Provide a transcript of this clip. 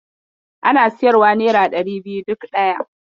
Ana siyarwa nera ɗari biyu duk ɗaya.